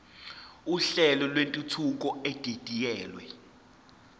uhlelo lwentuthuko edidiyelwe